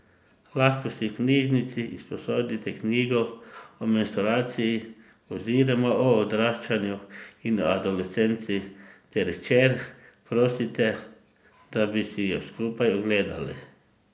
Lahko si v knjižnici izposodite knjigo o menstruaciji oziroma o odraščanju in adolescenci ter hčer prosite, da bi si jo skupaj ogledali.